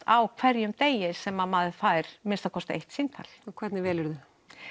á hverjum degi sem maður fær að minnsta kosti eitt símtal og hvernig velurðu